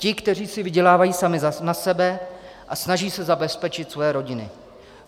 Ti, kteří si vydělávají sami na sebe a snaží se zabezpečit svoje rodiny.